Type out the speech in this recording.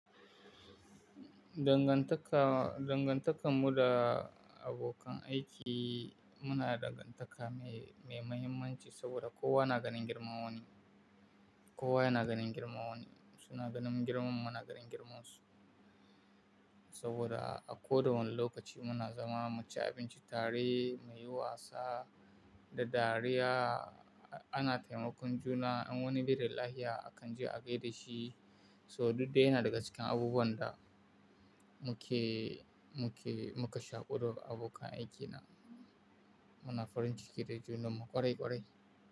Dangantaka, dangantakan mu da abokan aiki muna da dangantaka mai, mai mahimmanci saboda kowa na ganin girman wani. Kowa yana ganin girman wani. Suna ganin girman mu, muna ganin girman su. Saboda a kowane lokaci muna zama mace abinci, tare muyi wasa da dariya. Ana taimakon juna in wani baida lafiya akan je a gaida shi. So duk dai yana daga cikin abubuwan da muke, muke muka shaƙu da abokan aiki na. Muna farin ciki da junan mu ƙwarai ƙwarai.